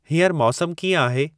हींअर मौसमु कीअं आहे